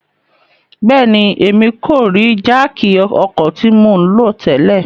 Bẹẹni, Emi ko rii jáákí ọkọ ti mo nlo tẹlẹ